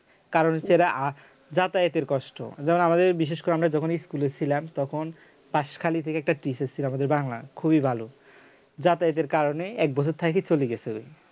কারণ হচ্ছে এরা যাতায়াতের কষ্ট যেমন আমাদের বিশেষ করে আমরা যখনই এ ছিলাম তখন পাশখালি থেকে একটা teacher ছিল আমাদের বাংলার খুবই ভালো যাতায়াতের কারণে এক বছর থাইকে চলে গেছিল